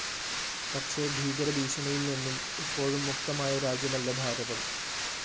പക്ഷേ ഭീകരഭീഷണിയില്‍നിന്നും ഇപ്പോഴും മുക്തമായ രാജ്യമല്ല ഭാരതം